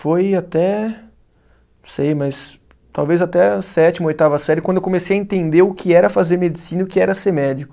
Foi até Não sei, mas. Talvez até a sétima, oitava série, quando eu comecei a entender o que era fazer medicina e o que era ser médico.